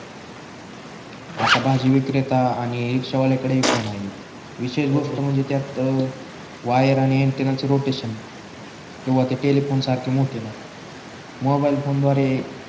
आता भाजी विक्रेता आणि रिक्षावाल्याकडे ही फोन आहे विशेष गोष्ट म्हणजे त्यात वायर आणि अँटेना च रोटेशन नाही किंवा ते टेलेफोन सारखे मोठे नाही मोबाईल फोन द्वारे